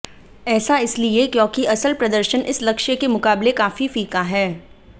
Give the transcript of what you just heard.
ऐसा इसलिए क्योंकि असल प्रदर्शन इस लक्ष्य के मुकाबले काफी फीका है